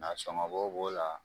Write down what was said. Nasɔgɔnbɔ b'o la